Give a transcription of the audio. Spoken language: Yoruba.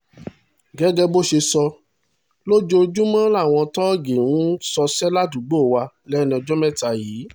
gẹ́gẹ́ bó ṣe sọ ojoojúmọ́ làwọn tóògì ń ṣọṣẹ́ ládùúgbò wa lẹ́nu ọjọ́ mẹ́ta yìí